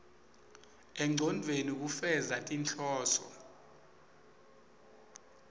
engcondvweni kufeza tinhloso